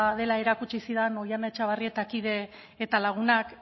dela erakutsi zidan oihana etxabarrietak kide eta lagunak